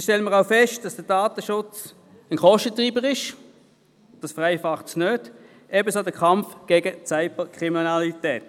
Dabei stellen wir auch fest, dass der Datenschutz ein Kostentreiber ist, also keine Vereinfachung, ebenso der Kampf gegen die Cyberkriminalität.